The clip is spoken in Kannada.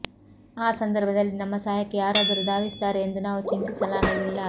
ಆ ಸಂದರ್ಭದಲ್ಲಿ ನಮ್ಮ ಸಹಾಯಕ್ಕೆ ಯಾರಾದರೂ ಧಾವಿಸುತ್ತಾರೆ ಎಂದು ನಾವು ಚಿಂತಿಸಲಾಗಲಿಲ್ಲ